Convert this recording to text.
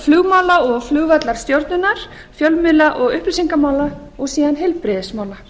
flugmála og flugvallarstjórnar fjölmiðla og upplýsingamála og síðan heilbrigðismála